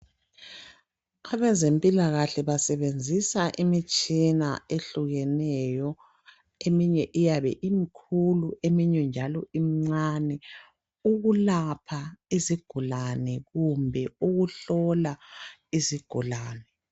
Abezempilakahle basebenzisa imitshina ehlukeneyo eminye iyabe imikhulu eminye njalo imincane ukulapha izigulane kumbe ukuhlola izigulane.